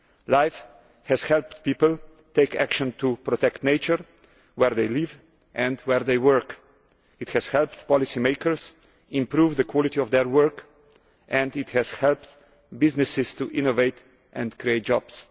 LIFE has helped people take action to protect nature where they live and where they work it has helped policymakers improve the quality of their work and it has helped businesses to innovate and create jobs.